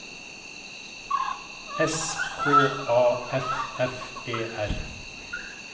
S K A F F E R